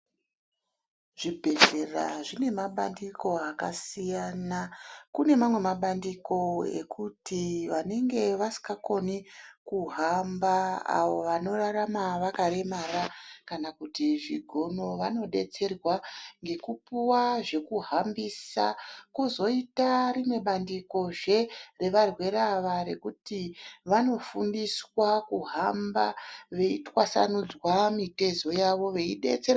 Zvibhedhlera zvine mabandiko akasiyana, kune mamwe mabandiko ekuti vanenge vasikakoni kuhamba, avo vanorarama vakaremara, kana kuti zvigono vanodetserwa ngekupuwa zvekuhambisa. Kwozoita rimwe bandiko zve revarwere ava rekuti vanofundiswa kuhamba, veitwasanudzwa mitezo yavo, veidetserwa.